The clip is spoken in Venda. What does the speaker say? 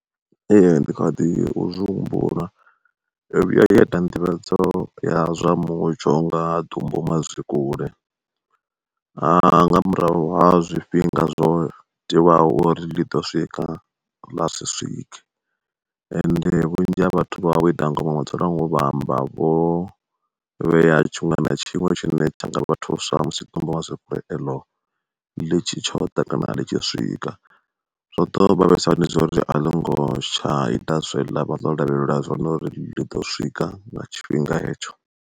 Ee ndi khaḓi zwi humbula, yo vhuya ya ita nḓivhadzo ya zwa mutsho nga ha ḓumbu mazikule, ha nga murahu ha zwifhinga zwo tiwaho uri ḽi ḓo swika ḽasi swike. Ende vhunzhi ha vhathu vha vha vho ita ngoma madzulawovhamba vho vhea tshiṅwe na tshiṅwe tshine tsha nga vha thusa musi ḓumbu mazikule ḽi tshi tshoṱela kana ḽi tshi swika, zwo ḓo vhavhesaho ndi zwori a ḽongo tsha ita zwe ḽavha ḽo lavhelela zwone uri ḽi ḓo swika nga tshifhinga hetsho.